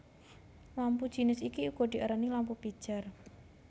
Lampu jinis iki uga diarani lampu pijar